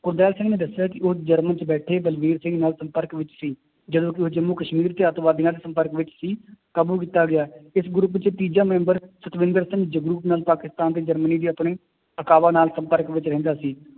ਗੁਰਦਿਆਲ ਸਿੰਘ ਨੇ ਦੱਸਿਆ ਕਿ ਉਹ ਜਰਮਨ ਚ ਬੈਠੇ ਬਲਵੀਰ ਸਿੰਘ ਨਾਲ ਸੰਪਰਕ ਵਿੱਚ ਸੀ, ਜਦੋਂ ਕਿ ਉਹ ਜੰਮੂ ਕਸ਼ਮੀਰ ਤੇ ਆਤੰਕਵਾਦੀਆਂ ਦੇ ਸੰਪਰਕ ਵਿੱਚ ਸੀ ਕਾਬੂ ਕੀਤਾ ਗਿਆ ਇਸ group ਚ ਤੀਜਾ ਮੈਂਬਰ ਸਤਵਿੰਦਰ ਸਿੰਘ ਜਗਰੂਪ ਨਾਲ ਪਾਕਿਸਤਾਨ ਤੇ ਜਰਮਨੀ ਦੇ ਆਪਣੇ ਨਾਲ ਸੰਪਰਕ ਵਿੱਚ ਰਹਿੰਦਾ ਸੀ